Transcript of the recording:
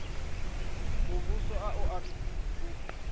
muvhuso a u athu u